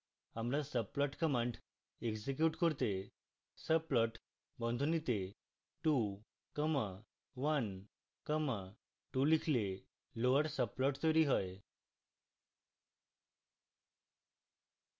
আমরা subplot command execute করতে